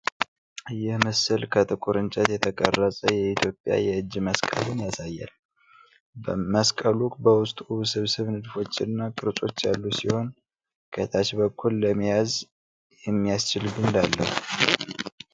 ይህ ሥዕል ከጥቁር እንጨት የተቀረጸ የኢትዮጵያ የእጅ መስቀልን ያሳያል። መስቀሉ በውስጡ ውስብስብ ንድፎችና ቅርጾች ያሉት ሲሆን፣ ከታች በኩል ለመያዝ የሚያስችል ግንድ አለው።